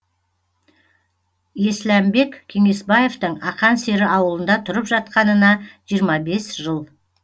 есләмбек кеңесбаевтың ақан сері ауылында тұрып жатқанына жиырма бес жыл